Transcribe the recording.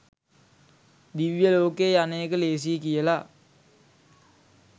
දිව්‍ය ලෝකයේ යන එක ලේසියි කියලා.